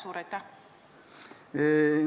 Suur aitäh!